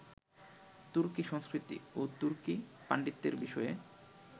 তুর্কি সংস্কৃতি ও তুর্কি পাণ্ডিত্যের বিষয়ে